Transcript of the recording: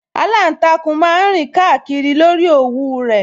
Aláǹtakùn máa ń rìn kíákíá lórí òwú rẹ̀